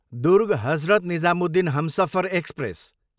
Durg, Hazrat Nizamuddin Humsafar express